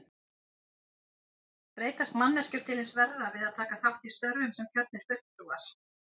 Breytast manneskjur til hins verra við að taka þátt í störfum sem kjörnir fulltrúar?